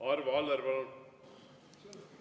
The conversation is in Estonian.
Arvo Aller, palun!